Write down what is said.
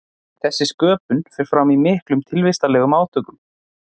þessi sköpun fer fram í miklum tilvistarlegum átökum